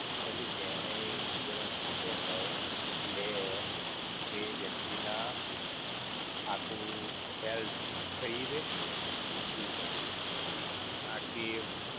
એટલે જેણે એ insurance લીધો હોય, લેય, તે વ્યક્તિ ના, આખું health થઇ રેય, એવું. આખી